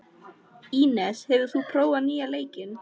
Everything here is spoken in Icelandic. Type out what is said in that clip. Ínes, hefur þú prófað nýja leikinn?